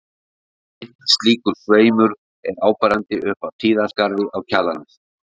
Einn slíkur sveimur er áberandi upp af Tíðaskarði á Kjalarnesi.